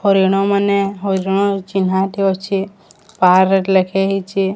ହରିଣ ମାନେ ହରିଣ ଚିହ୍ନା ଏଠି ଅଛି ପାର ଏଠି ଲେଖାହେଇଛି।